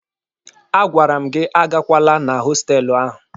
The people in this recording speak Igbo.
A gwara m gị agakwala na hostelụ ahụ!